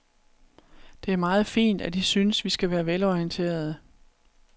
Det er meget fint, at I synes, vi skal være velorienterede.